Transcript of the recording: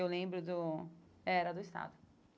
Eu lembro do... Era do Estado.